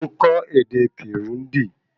Mo n kọ́ ède Kirundi